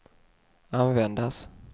användas